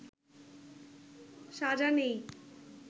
সাজা নেই